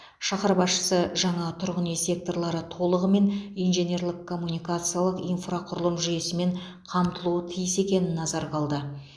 шаһар басшысы жаңа тұрғын үй секторлары толығымен инженерлік коммуникациялық инфрақұрылым жүйесімен қамтылуы тиіс екенін назарға алды